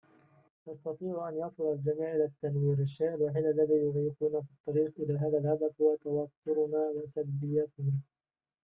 يستطيع أن يصل الجميع إلى التنوير الشيء الوحيد الذي يعيقنا في الطريق إلى هذا الهدف هو توترنا وسلبيتنا